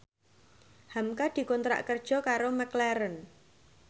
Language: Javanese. hamka dikontrak kerja karo McLaren